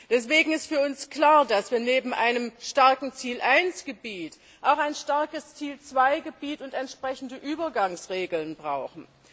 Deswegen ist für uns klar, dass wir neben einem starken Ziel I Gebiet auch ein starkes Ziel II Gebiet und entsprechende Übergangsregeln brauchen.